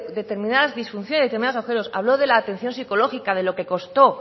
determinadas disfunciones de determinados agujeros habló de la atención psicológica de lo que costó